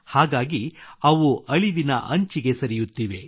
ಹಾಗಾಗಿ ಅವು ಅಳಿವಿನ ಅಂಚಿಗೆ ಸರಿಯುತ್ತಿವೆ